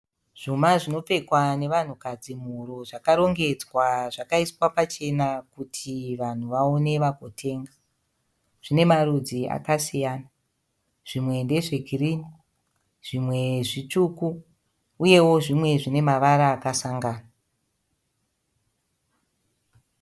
Zvuma zvinopfekwa nevanhukadzi muhuro zvakarongedzwa zvaiswa pachena kuti vanhu vaone vagotenga. Zvinemarudzi akasiyana, zvimwe ndezveginhi, zvimwe zvitsvuku, uyewo zvimwe zvinemavara akasangana.